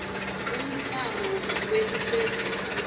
umklamo wekucedza inhlupheko